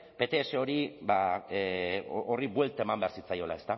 pts horri buelta eman behar zitzaiola